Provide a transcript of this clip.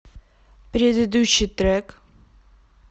предыдущий трек